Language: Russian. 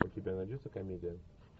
у тебя найдется комедия